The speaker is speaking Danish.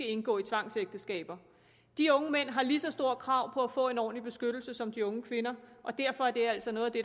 at indgå tvangsægteskab de unge mænd har et lige så stort krav på at få en ordentlig beskyttelse som de unge kvinder og derfor er det altså noget af det